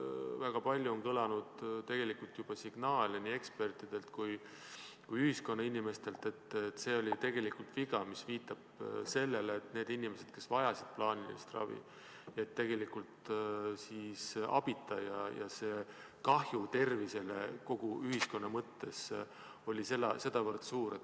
Väga palju on tulnud signaale nii ekspertidelt kui ühiskonna inimestelt, et see oli viga, mis viitab sellele, et need inimesed, kes vajasid plaanilist ravi, jäid tegelikult abita ja kahju tervisele kogu ühiskonna mõttes oli sedavõrd suur.